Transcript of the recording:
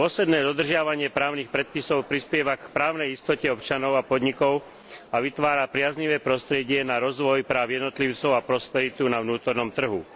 Dôsledné dodržiavanie právnych predpisov prispieva k právnej istote občanov, podnikov a vytvára priaznivé prostredie na rozvoj práv jednotlivcov a prosperitu na vnútornom trhu.